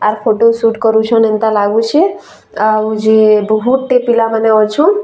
ଆର୍ photo shoot କରୁଛନ୍‌ ଏନ୍ତା ଲାଗୁଛେ ଆଉ ଯେ ବହୁତ୍ ଟେ ପିଲା ମାନେ ଅଛନ୍‌ ଆଉ।